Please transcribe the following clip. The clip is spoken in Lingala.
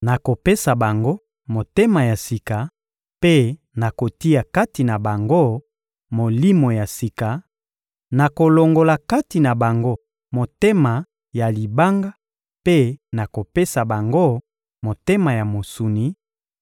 Nakopesa bango motema ya sika mpe nakotia kati na bango molimo ya sika; nakolongola kati na bango motema ya libanga mpe nakopesa bango motema ya mosuni,